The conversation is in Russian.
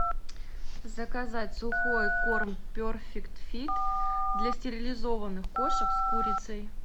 заказать сухой корм перфект фит для стерилизованных кошек с курицей